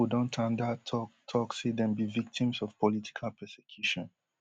di couple don tanda tok tok say dem be victims of political persecution